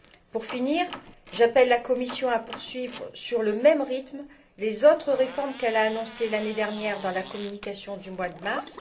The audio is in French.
Pour finir, j'appelle la Commission à poursuivre au même rythme les autres réformes qu'elle a annoncées l'année dernière dans la communication du mois de mars.